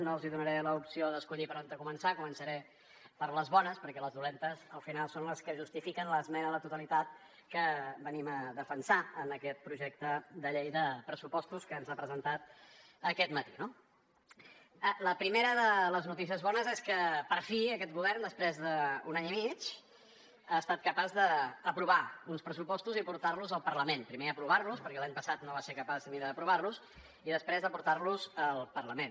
no els donaré l’opció d’escollir per on començar començaré per les bones perquè les dolentes al final són les que justifiquen l’esmena a la totalitat que venim a defensar en aquest projecte de llei de pressupostos que ens ha presentat aquest matí no la primera de les notícies bones és que per fi aquest govern després d’un any i mig ha estat capaç d’aprovar uns pressupostos i portar los al parlament primer aprovar los perquè l’any passat no va ser capaç ni d’aprovar los i després de portar los al parlament